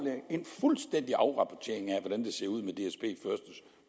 en fuldstændig afrapportering af hvordan det ser ud med